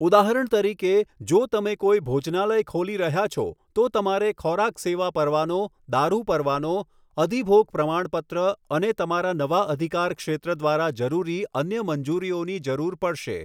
ઉદાહરણ તરીકે, જો તમે કોઈ ભોજનાલય ખોલી રહ્યા છો, તો તમારે ખોરાક સેવા પરવાનો, દારૂ પરવાનો, અધીભોગ પ્રમાણપત્ર અને તમારા નવા અધિકાર ક્ષેત્ર દ્વારા જરૂરી અન્ય મંજૂરીઓની જરૂર પડશે.